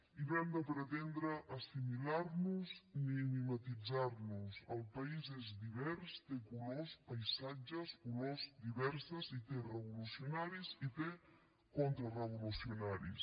i no hem de pretendre assimilar nos ni mimetitzar nos el país és divers té colors paisatges olors diverses i té revolucionaris i té contrarevolucionaris